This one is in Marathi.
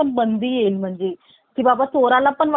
चोराला पण वाटेल आपण चोरी करायची कि नाही .